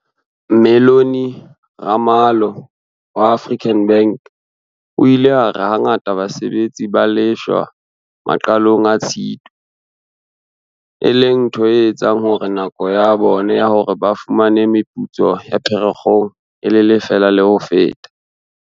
Mellony Ramalho wa African Bank o ile a re hangata basebetsi ba lefshwa maqalong a Tshitwe, e leng ntho e etsang hore nako ya bona ya hore ba fumane meputso ya Pherekgong e lelefale le ho feta.